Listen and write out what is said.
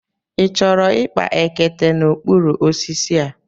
Ị chọrọ ịkpa ekete n'okpuru osisi a?